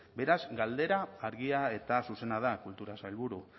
beraz galdera argia eta zuzena da kultura sailburu